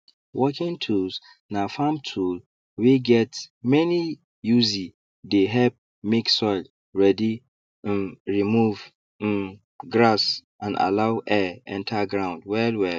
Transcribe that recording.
working tools na farm tool wey get many usee dey help make soil ready um remove um grass and allow air enter ground wellwell